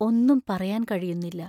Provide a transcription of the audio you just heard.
ഒന്നും പറയാൻ കഴിയുന്നില്ല.